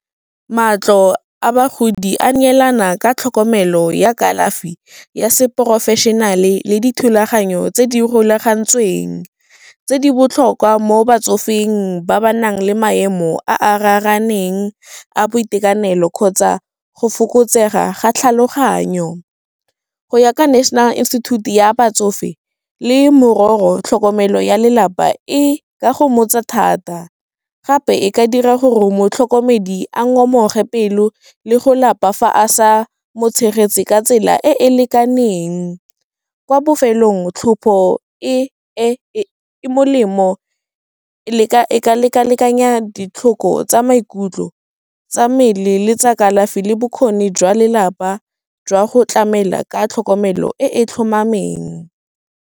Matlo a bagodi a neelana ka tlhokomelo ya kalafi ya se professionale le dithulaganyo tse di rulagantsweng, tse di botlhokwa mo batsofeng ba ba nang le maemo a a raraneng a boitekanelo, kgotsa go fokotsega ga tlhaloganyo. Go ya ka National Institute ya batsofe, le tlhokomelo ya lelapa, e ga e go mmotsa thata gape e ka dira gore motlhokomedi a ngomoge pelo, le go lapa fa a sa mo tshegetse ka tsela e e lekaneng. Kwa bofelong tlhopho e, e molemo e ka leka lekanya ditlhoko tsa maikutlo tsa mmele, le tsa kalafi le bokgoni jwa lelapa, jwa go tlamela ka tlhokomelo e.